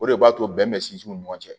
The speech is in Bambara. O de b'a to bɛn bɛ sinsin u ni ɲɔgɔn cɛ